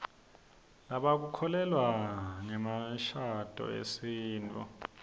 lebaku kholelwa nzemishaduo yesitfu